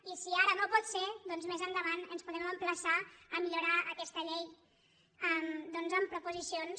i si ara no pot ser doncs més endavant ens podem emplaçar a millorar aquesta llei amb proposicions